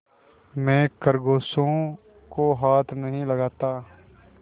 मैं खरगोशों को हाथ नहीं लगाता